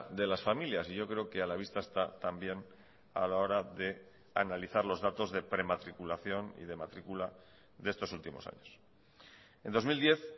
de las familias y yo creo que a la vista está también a la hora de analizar los datos de prematriculación y de matrícula de estos últimos años en dos mil diez